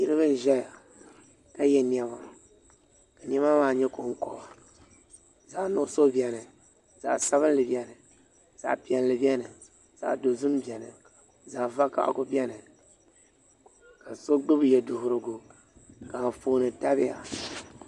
Niraba n ʒɛya ka yɛ niɛma ka niɛma maa nyɛ konkoba zaɣ nuɣso biɛni zaɣ sabinli biɛni zaɣ piɛlli biɛni zaɣ dozim biɛni zaɣ vakaɣali biɛni ka so gbubi yɛduɣurigu ka Anfooni tabiya